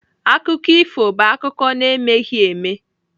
Akụkọ ifo bụ akụkọ na-emeghị eme.